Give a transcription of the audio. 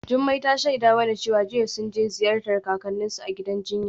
Jumai ta shaida mana cewa jiya sun je ziyartar kakanninsu a gidan jinya.